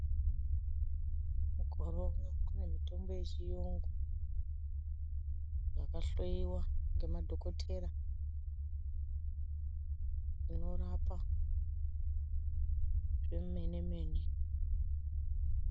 Mukore uno kune mitombo yechiyungu yakahloiwa ngemadhokotera inorapa zvemene mene.